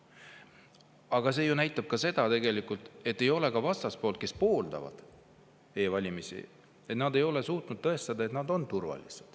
Aga see ju näitab ka seda, et vastaspool, kes pooldab e-valimisi, ei ole suutnud tõestada, et on turvaline.